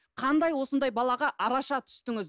қандай осындай балаға араша түстіңіз